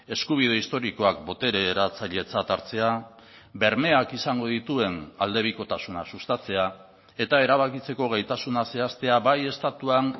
eskubide historikoak botere eratzailetzat hartzea bermeak izango dituen aldebikotasuna sustatzea eta erabakitzeko gaitasuna zehaztea bai estatuan